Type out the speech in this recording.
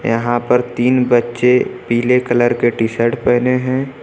यहां पर तीन बच्चे पीले कलर के टी शर्ट पेहने हैं।